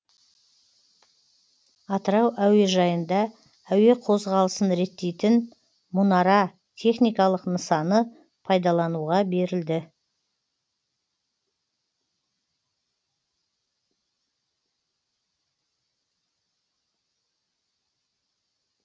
атырау әуежайында әуе қозғалысын реттейтін мұнара техникалық нысаны пайдалануға берілді